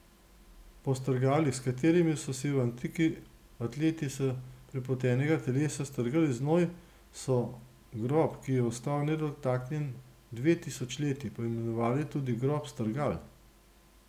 Po strgalih, s katerimi so si v antiki atleti s prepotenega telesa strgali znoj, so grob, ki je ostal nedotaknjen dve tisočletji, poimenovali tudi grob strgal.